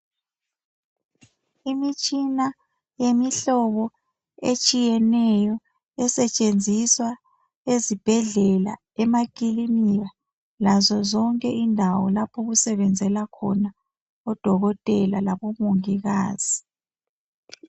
Imitshina yemihlobo etshiyeneyo esetshenziswa ezibhedlela, emakilinika lazo zonke indawo lapho okusebenzela khona odokotela labomongikazi.